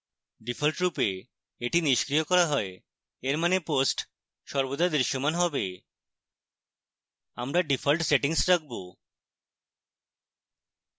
ডিফল্টরূপে এটি নিষ্ক্রিয় করা হয় এর means posts সর্বদা দৃশ্যমান হবে